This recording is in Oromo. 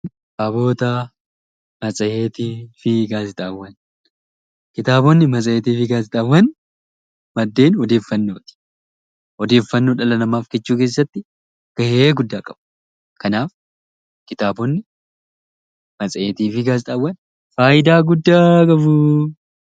Kitaabotni, matseetii fi gaazexaawwan maddeen odeeffannooti. Odeeffannoo dhala namaaf qicuu keessatti gahee guddaa qabu. Kanaaf kitaabotni, matseetii fi gaazexaawwan faayidaa guddaa qabu.